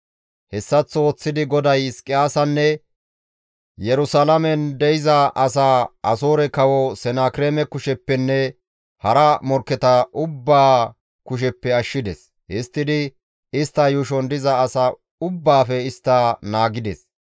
Hessaththo ooththidi GODAY Hizqiyaasanne Yerusalaamen de7iza asaa Asoore Kawo Senakireeme kusheppenne hara morkketa ubbaa kusheppe ashshides; histtidi istta yuushon diza asa ubbaafe istta naagides.